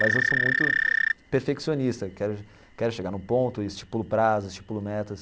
Mas eu sou muito perfeccionista, quero quero chegar no ponto, estipulo prazos, estipulo metas.